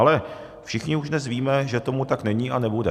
Ale všichni už dnes víme, že tomu tak není a nebude.